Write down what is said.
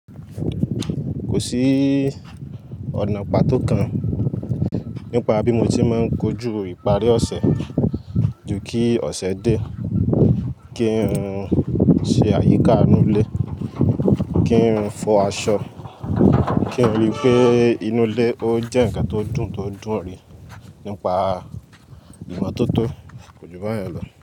Kò sí ọ̀nà pàtó kan nípa bí mo ti máa ń kojú ìparí ọ̀sẹ̀ ju kí ọ̀sẹ̀ dé, kí n ṣe àyíká inú ilé, kí n fọ aṣọ, kí n rí pé inú ilé ó jẹ́ ǹkan tó dùn tó dun ríI nípa ìmotótó kòjúbayen lọ.